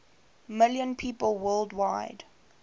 million people worldwide